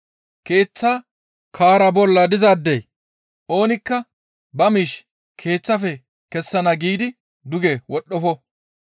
Keeththa kaara bolla dizaadey oonikka ba miish keeththaafe kessana giidi duge wodhdhofo.